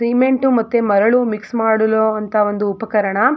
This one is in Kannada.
ಸಿಮೆಂಟ್ ಮತ್ತು ಮರಳು ಮಿಕ್ಸ್ ಮಾಡುವಂತಹ ಒಂದು ಉಪಕರಣ.